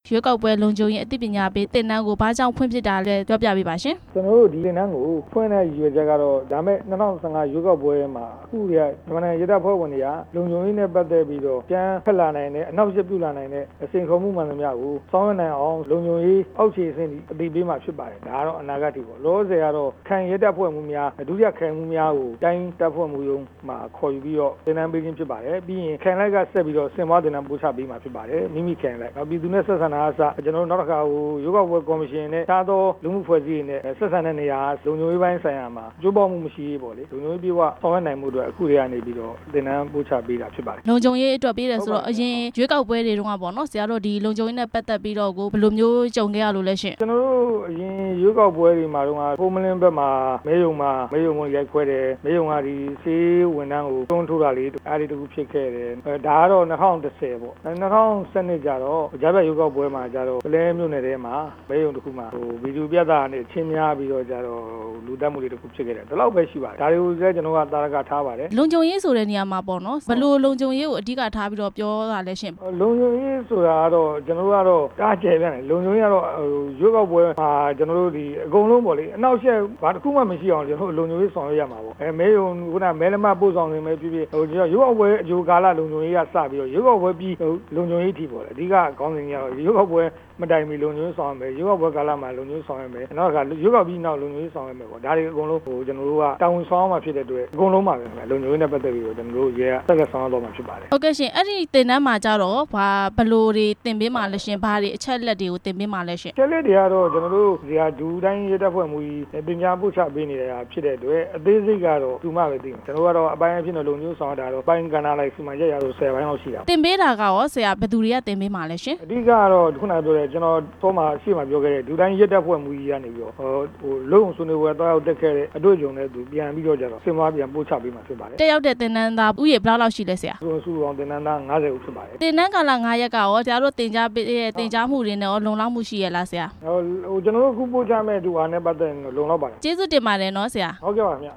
ရွေးကောက်ပွဲလုံခြုံရေး အသိပညာပေး သင်တန်းကိုဘာကြောင့် ဖွင့်ဖြစ်တာလဲ သိပါရစေရှင်။ ကျနော်တို့ဒီသင်တန်းကို ဖွင့်တဲ့ရည်ရွယ်ချက်ကတော့ လာမယ့် ၂၀၁၅ ရွေးကောက်ပွဲမှာ မြန်မာနိုင်ငံရဲတပ်ဖွဲ့ဝင်တွေက လုံခြုံရေးနဲ့ ပတ်သက် ပြီးတော့ အကြမ်းဖက်လာနိုင်တဲ့ အနှောက့်အယှက်ပြုလာနိုင်တဲ့ စိန်ခေါ်မှုမှန်သမျှကို ဆောင်ရွက်နိုင်အောင် လုံခြုံရေးအောက်ခြေ အဆင့်ထိ အသိပေးမှာဖြစ်ပါတယ်၊ လောလောဆယ်ကတော့ ခရိုင်ရဲတပ်ဖွဲ့မှူးများ၊ ဒုတိယ ခရိုင်မှူးများကို တိုင်းတပ်ဖွဲ့ မှူးရုံးမှာ ခေါ်ယူပြီးတော့ သင်တန်းပေးခြင်းဖြစ်ပါတယ်၊ ပြီးရင်ခရိုင်လိုက်ဆက်ပြီးတော့ သင်တန်းများကိုပို့ချပေးမှာဖြစ်ပါတယ်၊ ပြည်သူနဲ့ဆက်ဆံတာကအစ၊ နောက်တစ်ခါ ရွေးကောက် ပွဲကော်မရှင်နဲ့ တခြားသောလူမှုအဖွဲ့အစည်းတွေနဲ့ ဆက်ဆံတဲ့နေရာက လုံခြုံရေးပိုင်းဆိုင်ရာမှာ လုံခြုံရေးအပြည့်အဝဆောင်ရွက်နိုင်ရေးအတွက် အခုတည်းက သင်တန်းပို့ချပေးတာဖြစ်ပါတယ်။ လုံခြုံရေးအတွက်ပေးတယ်ဆိုတော့ အရင်ရွေးကောက်ပွဲတွေတုန်း က ဆရာတို့လုံခြုံရေးနဲ့ ပတ်သက်ပြီးတော့ ဘယ်လိုမျိုးကြုံခဲ့ရလို့လဲရှင့်။ အရင်ရွေးကောက်ပွဲတွေတုန်းက ဟုမ္မလင်းဖက်မှာ မဲရုံကိုရိုက်ခွဲတယ်၊ မဲရုံကစာရေးဝန်ထမ်းကို တွန်းထိုးတာတွေဖြစ် ခဲ့ဘူးတယ်၊ ဒါကတော့ ၂၀၁၀ ပေါ့၊ ၂၀၁၂ ကျတော့ ပုလဲမြို့နယ်က မဲရုံမှာ ဗီဒီယိုပြသရာကနေ အချင်းများ ပြီးတော့ လူသတ်မှုတစ်ခုဖြစ်ခဲ့တယ်၊ ဒါတွေကိုလဲ ကျနော်တို့က သာဓကထားပါတယ်၊ လုံခြုံရေးဆိုတာ ဘယ်လိုလုံခြုံရေးကို အဓိကထားတာလဲရှင့်။ လုံခြုံရေးဆိုတာကတော့ အရမ်းကျယ်ပြန့်တယ်၊ ရွေးကောက်ပွဲမှာ အကုန်လုံးပေါ့လေ၊ ဘာတစ်ခုမှမဖြစ်အောင် ကျနော်တို့လုံခြုံရေး ဆောင်ရွက်ရမှာပေါ့၊ ခုနကပြောတဲ့မဲရုံပဲဖြစ်ဖြစ်၊ ရွေးကောက်ပွဲအကြိုကာလလုံခြုံရေးက စပြီးတော့ ရွေးကောက်ပွဲပြီးသည်အထိပေါ့၊ အဓိကခေါင်းစဉ်ကတော့ ရွေးကောက်ပွဲ မတိုင်မီကာလမှာ လုံခြုံရေးဆောင်ရွက်မယ်၊ ရွေးကောက်ပွဲကာလမှာ လုံခြုံရေး ဆောင်ရွက်မယ်၊ ရွေးကောက်ပွဲ ပြီးနောက်လုံခြုံရေးဆောင်ရွက်မယ်၊ ဒါတွေကိုတာဝန်ဆောင်ရွက်ရမှာဖြစ်တဲ့အတွက် လုံခြုံရေးနဲ့ပတ်သက်ပြီးတော့ ကျနော်တို့ရဲကဆောင်ရွက်သွား မှာဖြစ်ပါတယ်။ အဲ့ဒီသင်တန်းမှာကျတော့ရော ဘယ်လိုတွေသင်ပေးမှာလဲ၊ ဘယ်အချက်အလက်တွေကို သင်ပေးမှာလဲရှင့်။ အချက်အလက်တွေကတော့ ဒုတိုင်းရဲတပ်ဖွဲ့မှူးကြီး သင်ကြားပို့ချပေးနေတာဖြစ်တဲ့အတွက် အသေးစိတ်ကတော့ သူမှပဲ သိမယ်၊ ကျနော်တို့ကတော့ လုံခြုံရေးအပိုင်းဆောင်ရွက်ရမှာကတော့ ၁၀ ပိုင်းလောက်ရှိတာပေါ့။ သင်ပေးတာကရော ဘယ်သူတွေကသင်ပေးမှာလဲရှင်။ အဓိကကတော့ ကျနော်ခုနကပြောတဲ့ ဒုတိုင်းရဲတပ်ဖွဲ့မှူး ကြီးကနေပြီးတော့ အလုပ်ရုံဆွေးနွေးပွဲသွားရောက်တက်ခဲ့တဲ့ အတွေ့အကြုံနဲ့ပြန်ပြီး တော့ ဆွေးနွေးပို့ချပေးမှာဖြစ်ပါတယ်။ တက်ရောက်တဲ့သင်တန်းသားဦးရေ ဘယ်လောက်ရှိလဲဆရာ။ စုစုပေါင်းသင်တန်းသား ၅၀ ဦးဖြစ်ပါတယ်၊ သင်တန်းကာလ ၅ ရက်က သင်ကြားပို့ချမှုအတွက် လုံလောက်မှုရှိရဲ့လားဆရာ။ ကျနော်တို့ပို့ချမှုနဲ့ပတ်သက်မှုကတော့ လုံလောက်ပါတယ်။ အခုလိုဖြေကြားပေးတာ ကျေးဇူးတင်ပါတယ်နော်ဆရာ။ ဟုတ်ကဲ့ပါဗျာ